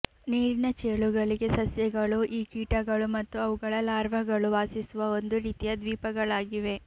ನೀರಿನ ಚೇಳುಗಳಿಗೆ ಸಸ್ಯಗಳು ಈ ಕೀಟಗಳು ಮತ್ತು ಅವುಗಳ ಲಾರ್ವಾಗಳು ವಾಸಿಸುವ ಒಂದು ರೀತಿಯ ದ್ವೀಪಗಳಾಗಿವೆ